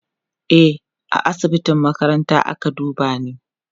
e A asibitin makaranta ake dubani